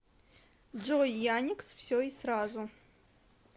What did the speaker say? джой яникс все и сразу